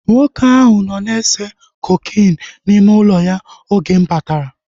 Nwoke ahụ nọ na-ese kokeenu n'ime ụlọ ya oge m batara